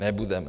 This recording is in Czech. Nebudeme.